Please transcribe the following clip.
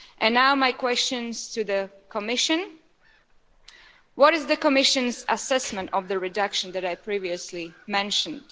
Now my questions to the Commission what is the Commission's assessment of the reduction that I previously mentioned?